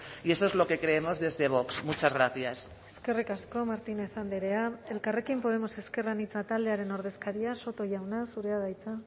y eso es lo que creemos desde vox muchas gracias eskerrik asko martínez andrea elkarrekin podemos ezker anitza taldearen ordezkaria soto jauna zurea da hitza